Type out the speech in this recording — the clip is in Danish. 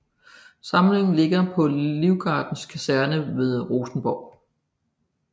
Samlingen ligger på Livgardens Kaserne ved Rosenborg